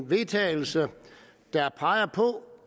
vedtagelse der peger på